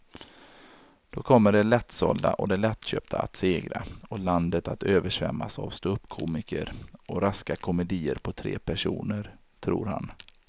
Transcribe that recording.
Då kommer det lättsålda och det lättköpta att segra och landet att översvämmas av ståuppkomiker och raska komedier på tre personer, tror han.